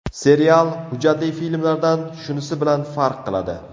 Serial, hujjatli filmlardan shunisi bilan farq qiladi.